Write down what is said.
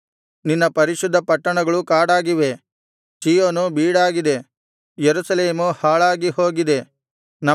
ನಿನ್ನ ಪರಿಶುದ್ಧ ಪಟ್ಟಣಗಳು ಕಾಡಾಗಿವೆ ಚೀಯೋನು ಬೀಡಾಗಿದೆ ಯೆರೂಸಲೇಮು ಹಾಳಾಗಿ ಹೋಗಿದೆ